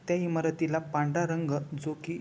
त्या इमारतीला पांढरा रंग जो की--